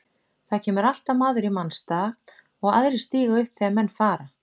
Það kemur alltaf maður í manns stað og aðrir stíga upp þegar menn fara.